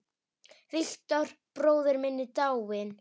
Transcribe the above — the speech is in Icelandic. Victor bróðir minn er dáinn.